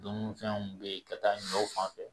Dununifɛnw bɛ yen ka taa ɲɔw fan fɛ